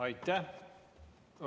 Aitäh!